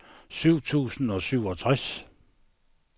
syv tusind og syvogtres